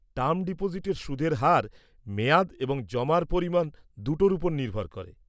Term ডিপোজিটের সুদের হার মেয়াদ এবং জমার পরিমাণ দুটোর ওপর নির্ভর করে।